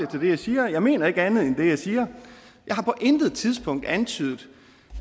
til det jeg siger jeg mener ikke andet end det jeg siger jeg har på intet tidspunkt antydet